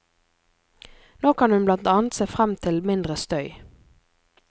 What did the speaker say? Nå kan hun blant annet se frem til mindre støy.